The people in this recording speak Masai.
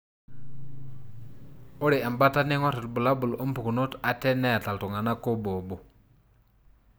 Ore embata neingor ibulabul wompukunot ate neta iltunganak obo obo.